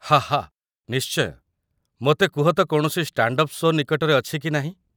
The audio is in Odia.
ହା ହା ନିଶ୍ଚୟ! ମୋତେ କୁହତ କୌଣସି ଷ୍ଟାଣ୍ଡ ଅପ୍ ସୋ' ନିକଟରେ ଅଛି କି ନାହିଁ।